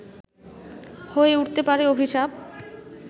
হয়ে উঠতে পারে অভিশাপ